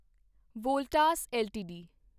Voltas LTD